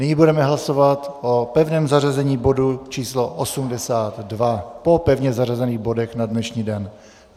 Nyní budeme hlasovat o pevném zařazení bodu č. 82 po pevně zařazených bodech na dnešní den.